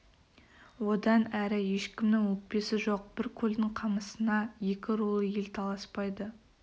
одан әрі ешкімнің өкпесі жоқ бір көлдің қамысына екі рулы ел таласпайды